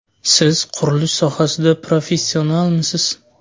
Siz qurilish sohasida professionalmisiz?